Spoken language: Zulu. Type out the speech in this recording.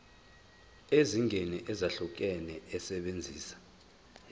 eziningi ezahlukahlukene esebenzisa